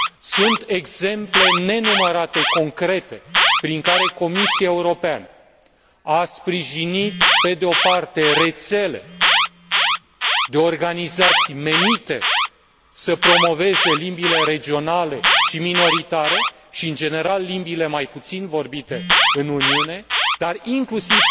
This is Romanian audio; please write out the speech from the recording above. Sunt exemple nenumărate, concrete, prin care Comisia Europeană a sprijinit pe de o parte rețele de organizații menite să promoveze limbile regionale și minoritare și, în general, limbile mai puțin vorbite în Uniune, dar inclusiv